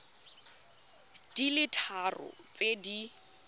di le tharo tse di